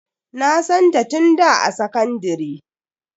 Na santa tun da a sakandire.